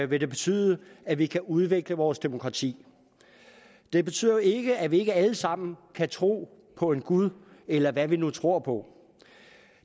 vil det betyde at vi kan udvikle vores demokrati det betyder jo ikke at vi ikke alle sammen kan tro på en gud eller hvad vi nu tror på